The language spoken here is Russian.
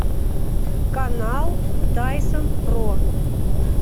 канал тайсон про